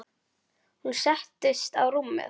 Hún settist á rúmið.